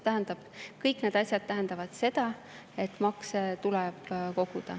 Ja kõik need asjad tähendavad seda, et makse tuleb koguda.